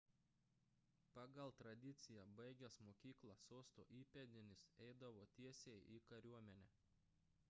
pagal tradiciją baigęs mokyką sosto įpėdinis eidavo tiesiai į kariuomenę